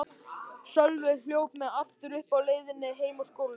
Sölvi hljóp mig aftur uppi á leiðinni heim úr skólanum.